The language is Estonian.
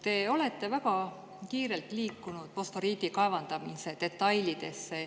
Te olete väga kiirelt liikunud fosforiidi kaevandamise detailidesse.